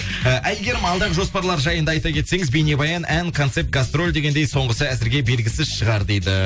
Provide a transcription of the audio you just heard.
і айгерім алдағы жоспарлар жайында айта кетсеңіз бейнебаян ән концерт гастроль дегендей соңғысы әзірге белігісіз шығар дейді